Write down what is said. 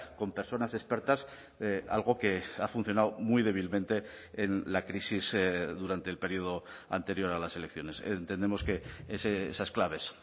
con personas expertas algo que ha funcionado muy débilmente en la crisis durante el periodo anterior a las elecciones entendemos que esas claves